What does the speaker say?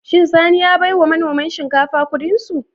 Shin Sani ya baiwa manoman shinkafa Ƙudinsu?